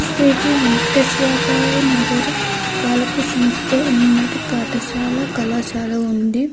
శ్రీ వెంకటేశ్వర నగర పాలకసంస్థ ఉన్నత పాఠశాల కళాశాల ఉంది.